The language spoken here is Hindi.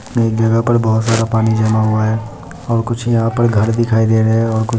एक जगह पर बहुत सारा पानी जमा हुआ है और कुछ यहाँ पर घर दिखाई दे रहे हैं। और कुछ --